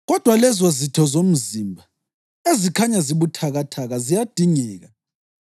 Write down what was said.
Kodwa, lezozitho zomzimba ezikhanya zibuthakathaka ziyadingeka,